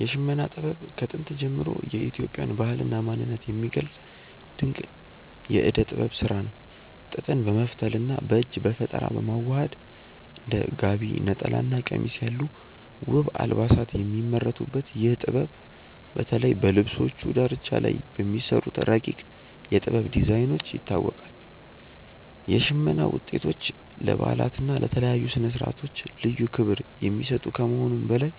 የሽመና ጥበብ ከጥንት ጀምሮ የኢትዮጵያን ባህልና ማንነት የሚገልጽ ድንቅ የእደ ጥበብ ስራ ነው። ጥጥን በመፍተልና በእጅ በፈጠራ በማዋሃድ እንደ ጋቢ፣ ነጠላና ቀሚስ ያሉ ውብ አልባሳት የሚመረቱበት ይህ ጥበብ፣ በተለይ በልብሶቹ ዳርቻ ላይ በሚሰሩት ረቂቅ የ"ጥበብ" ዲዛይኖች ይታወቃል። የሽመና ውጤቶች ለበዓላትና ለተለያዩ ስነ-ስርዓቶች ልዩ ክብር የሚሰጡ ከመሆኑም በላይ፣